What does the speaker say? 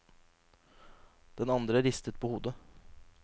Den andre ristet på hodet.